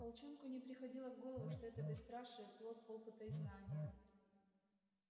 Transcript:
волчонку не приходило в голову что это бесстрашие плод опыта и знания